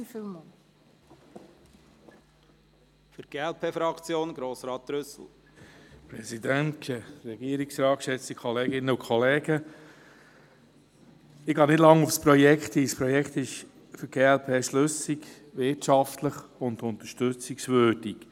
Ich gehe nicht lange auf das Projekt ein, es ist für die glp schlüssig, wirtschaftlich und unterstützungswürdig.